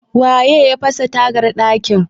waye ya fasa tagar dakin?